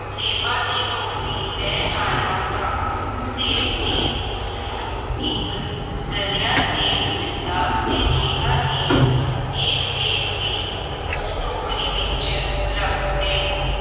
ਸੇਬਾਂ ਦੀ ਟੋਕਰੀ ਲੈ ਆਇਆ ਤਾਂ ਸੇਠ ਨੇ ਉਸਨੂੰ ਇੱਕ ਗਲਿਆ ਸੇਬ ਦਿੱਤਾ ਤੇ ਕਿਹਾ ਕਿ ਇਹ ਸੇਬ ਵੀ ਉਸ ਟੋਕਰੀ ਵਿੱਚ ਰੱਖ ਦੇਵੋ।